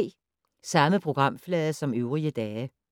Samme programflade som øvrige dage